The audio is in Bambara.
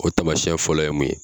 O tamasɛn fɔlɔ ye mun ye